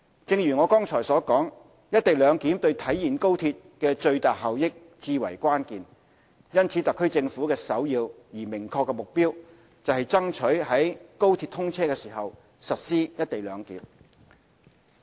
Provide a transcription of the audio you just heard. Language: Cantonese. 正如我剛才所述，"一地兩檢"對體現高鐵的最大效益至為關鍵，因此特區政府的首要而明確的目標，是爭取於高鐵通車時實施"一地兩檢"。